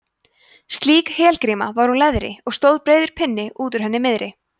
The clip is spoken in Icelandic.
slík helgríma var úr leðri og stóð breiður pinni út úr henni miðri